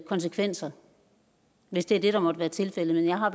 konsekvenser hvis det er det der måtte være tilfældet jeg har